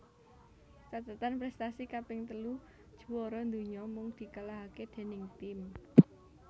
Cathetan prèstasi kaping telu juwara donya mung dikalahaké déning tim